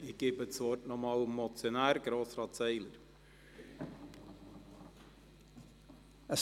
Ich erteile noch einmal dem Motionär, Grossrat Seiler, das Wort.